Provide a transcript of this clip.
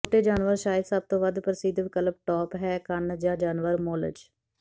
ਛੋਟੇ ਜਾਨਵਰ ਸ਼ਾਇਦ ਸਭ ਤੋਂ ਵੱਧ ਪ੍ਰਸਿੱਧ ਵਿਕਲਪ ਟੋਪ ਹੈ ਕੰਨ ਜਾਂ ਜਾਨਵਰ ਮੋਲਜ